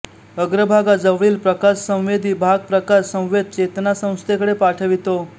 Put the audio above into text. अग्रभागा जवळील प्रकाशसंवेदी भाग प्रकाश संवेद चेतासंस्थेकडे पाठवितो